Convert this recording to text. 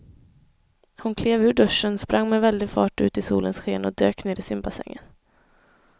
Hon klev ur duschen, sprang med väldig fart ut i solens sken och dök ner i simbassängen.